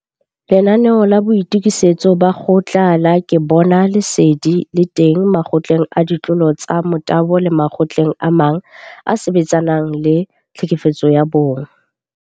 Lenanaeo la Boitokisetso ba Kgotla la Ke Bona Lesedi le teng Makgotleng a Ditlolo tsa Motabo le makgotleng a mang a a sebetsanang le GBV.